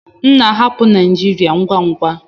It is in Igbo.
M na-ahapụ Naijiria ngwa ngwa.